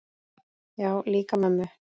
Já, líka mömmu